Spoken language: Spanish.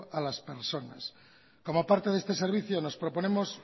a las personas como parte de este servicio nos proponemos